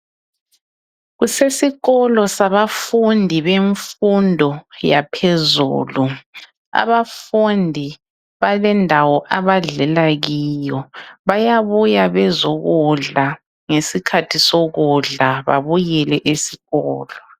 Kusesikolo sabafundi bemfundo yaphezulu. Abafundi balendawo abadlela kiyo. Bayabuya bezokudla ngesikhathi sokudla babuyele esikolo.